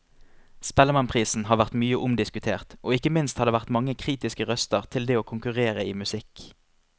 Spellemannprisen har vært mye omdiskutert, og ikke minst har det vært mange kritiske røster til det å konkurrere i musikk.